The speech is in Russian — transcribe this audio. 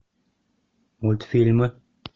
мультфильмы